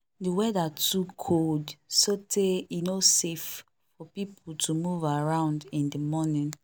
the weather too cold so tey e no safe for people to move around in the morning